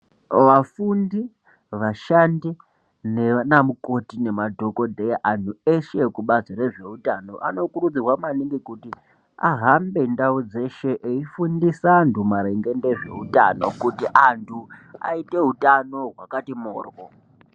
Vafundi, vashandi nanamukoti nemadhokodheya anhu eshe ezvekubazi rezveutano anokurudzirwa maningi kuti ahambe ndau dzeshe eifundisa antu maringe ndezveutano kuti antu aite hutano hwakati morwo.